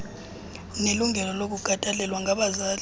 nelungelo lokukhathalelwa ngabazali